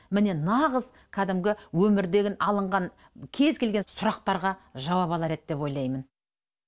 міне нағыз кәдімгі өмірден алынған кез келген сұрақтарға жауап алар еді деп ойлаймын